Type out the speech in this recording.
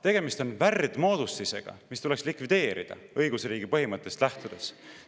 Tegemist on värdmoodustisega, mis tuleks likvideerida, lähtuda õigusriigi põhimõttest.